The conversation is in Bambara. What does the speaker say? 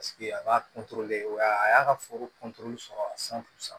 a b'a wa a y'a ka foro sɔrɔ san